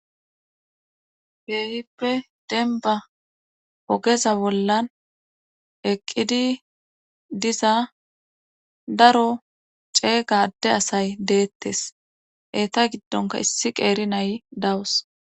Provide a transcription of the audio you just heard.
keehippe denba ogeza bollan eqqidi diza daro ceega adde asay deettes eeta giddonka issi qeeri nay dawus.